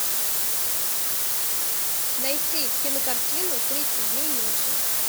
найти кинокартину тридцать дней ночи